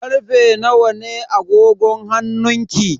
Karfe nawa ne a agogon hannunki?